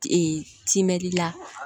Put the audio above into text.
Ee timinandi la